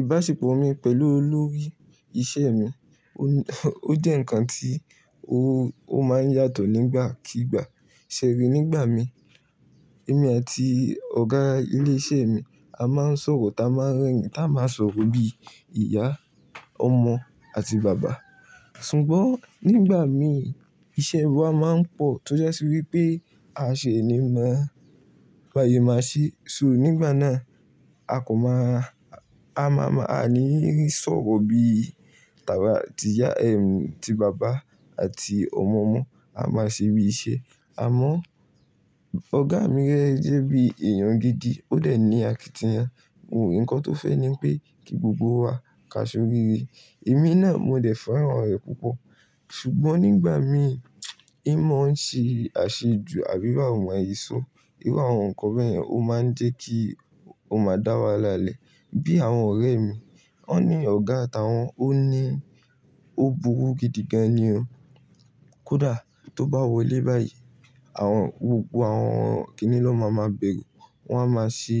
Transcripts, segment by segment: Ìbáṣepọ̀ mi pẹ̀lú olórí iṣẹ́ mi, ó jẹ́ ǹkan tí ó máa ń yàtọ̀ nígbàkigbà. Ṣẹ̀ rí, nígbà mi, èmi àti ọ̀gá ilé iṣẹ́ mi a máa ń sọ̀rọ̀, tá a máa ń rẹ́rìn-ín, tá a máa sọ̀rọ̀ bí ìyá, ọmọ àti bàbá. Ṣùgbọ́n nígbà mi iṣẹ́ wa máa ń pọ̀ tó jasi wípé a ṣe é ní mọ́, báse máa ṣe. So nígbà náà a kan máa, a máa máa, a ní sọ̀rọ̀ bí tàba tiyá, ẹm, ti bàbá àti ọmọ mo. A máa ṣe bí iṣẹ́. Àmọ́ ọ̀gá mi rẹ jẹ́ bí èèyàn gidi. Ó dẹ̀ ní àkìtìyan. Un ǹkan tó fẹ́ ni pé kí gbogbo wa ka sóríre. Èmi náà mo dẹ̀ fẹ́ràn rẹ̀ púpọ̀. Ṣùgbọ́n nígbà mii, n mọ̀ ń ṣe àṣejù àbí bàwo ma se so. Irú àwọn nǹkan bẹ́yẹ̀n ó máa ń jẹ́ kí o máa dá wahala lẹ́. Bí àwọn ọ̀rẹ́ mi, wọ́n ní ọ̀gá táwọn, ó ní, ó burú gidigan ni o. Kódà tó bá wọlé báyìí, àwọn, gbogbo àwọn kíní lọ́ máa máa bẹ̀ere. Wọ́n á máa ṣí,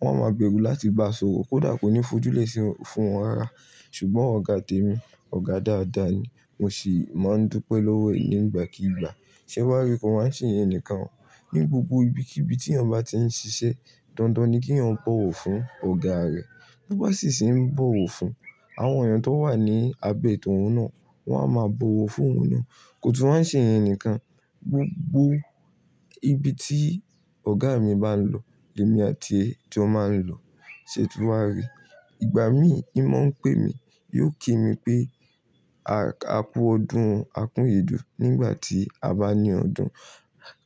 wọ́n á máa bẹ̀rù láti bá sọ̀rọ̀. Kódà kò ní fojú lè ṣi fún wọn rárá. Ṣùgbọ́n ọ̀gá tèmi, ọ̀gá dáadáa ni. Mo sì máa ń dúpẹ́ lọ́wọ́ ẹ̀ nígbàkigbà. Ṣé wàá rí kọ́ wa n ṣeyen ǹikan. Ní gbogbo ibikíbi tí èèyàn bá ti ń ṣiṣẹ́, dandan ni kí èèyàn bọ̀wọ̀ fún ọ̀gá rẹ̀. Bí ó bá sì se ń bọ̀wọ̀ fún àwọn èèyàn tó wà ní abẹ tóhún náà, wọ́n á máa bọ̀wọ̀ fún òun náà. Kò tún wa n ṣeyen nǹkan. Gbogbo ibi tí ọ̀gá mi bá ń lọ, lèmi àti e jó máa ń lọ. Ṣe tún wa rí. Ìgbà mii, n mọ̀ ń pè mi. Yóò kí mi pé, "A kú ọdún, a kú iyèdùn" nígbà tí a bá ní ọdún.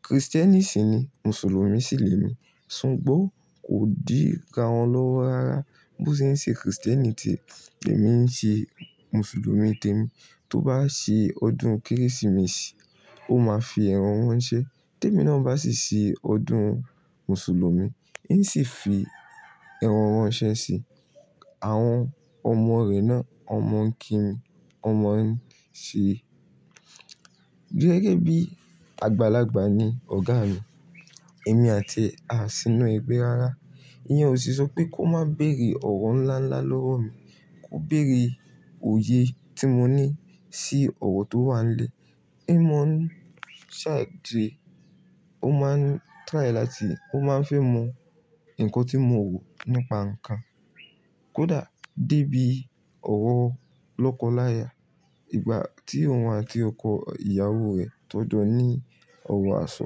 Kristẹ́nì sì ni, Mùsùlùmí sì lèmi. Ṣùgbọ́n kò dira wọn lọ́wọ́ rárá. Bó ṣe ń ṣe Kristẹ́nì tie, lèmi ń ṣe Mùsùlùmí tèmi. Tó bá ṣe ọdún Kérésìmesì, ó máa fi ẹ̀ran ranṣe. Tèmi náà bá sì ṣe ọdún Mùsùlùmí, n sì fi ẹ̀ran ranse sí i. Àwọn ọmọ rẹ̀ náà, won mo ń kí mi, won mo ń ṣe Gẹ́gẹ́ bí àgbàlagbà ni ọ̀gá mi. Èmi àti e a sínú ẹgbẹ́ rárá. Iyẹn ò sì sọ pé kó má bẹ̀rẹ̀ ọ̀rọ́ ńlá ńlá lọ́wọ́ mi. Kó bẹ̀rẹ̀ òye tí mo ní sí ọ̀rọ́ tó wà nílẹ̀. N mọ̀ ń sàdẹ́. Ó máa ń try láti, ó máa ń fẹ́ mọ ǹkan tí mo rò nípa nǹkan. Kódà débí ọ̀rọ́ lọ́kọláya. Ìgbà tí òun àti ọkọ ìyàwó rẹ̀ tọ́n jọ́ ní ọ̀rọ̀ àsọ,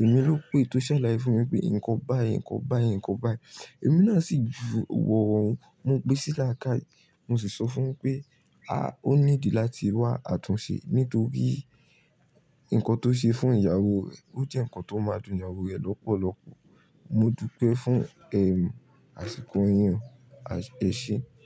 èmi ló pé tó ṣàlàyé fún mi pé nǹkan báyìí, nǹkan báyìí, nǹkan báyìí. Èmi náà sì ju ọ̀rọ̀ un mo gbẹ́ sí làákàyè. Mo sì sọ fún pé, "A, ó need láti wá àtúnṣe. Nítorí nǹkan tó ṣe fún ìyàwó rẹ̀ ó jẹ́ nǹkan tó máa dùn ìyàwó rẹ̀ lọ́pọ̀lọpọ̀." Mo dúpẹ́ fún ẹ́m, àṣìkò yìń o, e ṣe.